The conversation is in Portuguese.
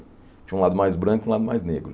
Tinha um lado mais branco e um lado mais negro.